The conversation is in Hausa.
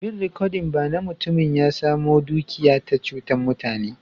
Bin rikodin ba na, mutumin ya samo dukiya ta chutan mutane.